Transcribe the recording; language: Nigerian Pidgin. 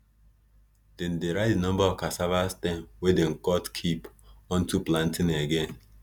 dem dey write di numba of cassava stem wey dem cut keep unto planting again